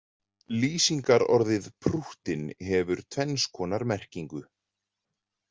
Lýsingarorðið prúttinn hefur tvenns konar merkingu.